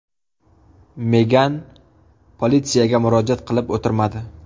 Megan politsiyaga murojaat qilib o‘tirmadi.